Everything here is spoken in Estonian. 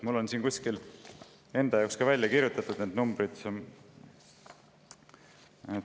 Mul on siin kuskil enda jaoks välja kirjutatud need numbrid.